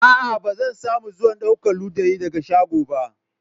Aa, ba zan samu zuwan daukan ludayin daga shago ba.